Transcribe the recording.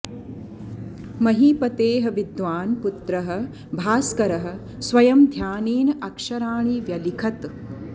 महीपतेः विद्वान् पुत्रः भास्करः स्वयं ध्यानेन अक्षराणि व्यलिखत्